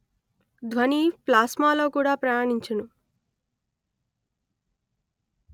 ధ్వని ప్లాస్మా లో కూడా ప్రయాణించును